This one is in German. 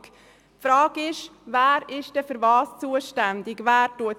Die Frage lautet, wer wofür zuständig ist.